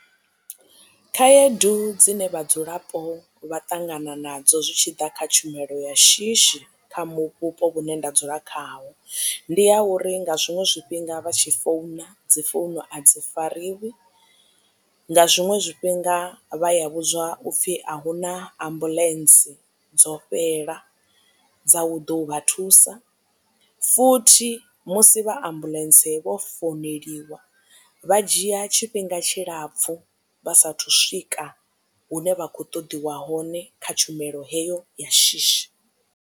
Khaedu dzine vhadzulapo vha ṱangana nadzo zwi tshi ḓa kha tshumelo ya shishi kha vhupo vhune nda dzula khaho ndi ya uri nga zwiṅwe zwifhinga vha tshi founa dzi founu a dzi fariwi nga zwiṅwe zwifhinga vha ya vhudziwa upfi ahuna ambuḽentse dzo fhela dza u ḓo vha thusa futhi musi vha a ambuḽentse vho founeliwa vha dzhia tshifhinga tshilapfu vha sathu swika hune vha kho ṱoḓiwa hone kha tshumelo heyo ya shishi.